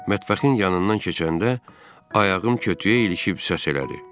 Mətbəxin yanından keçəndə ayağım kötüyə ilişib səs elədi.